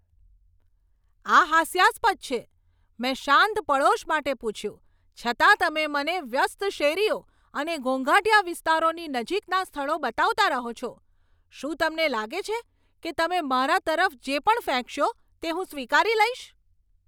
આ હાસ્યાસ્પદ છે. મેં શાંત પડોશ માટે પૂછ્યું, છતાં તમે મને વ્યસ્ત શેરીઓ અને ઘોંઘાટીયા વિસ્તારોની નજીકના સ્થળો બતાવતા રહો છો. શું તમને લાગે છે કે તમે મારા તરફ જે પણ ફેંકશો તે હું સ્વીકારી લઈશ?